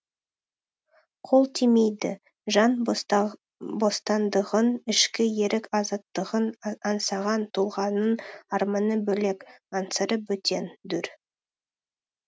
қол тимейді жан бостандығын ішкі ерік азаттығын аңсаған тұлғаның арманы бөлек аңсары бөтен дүр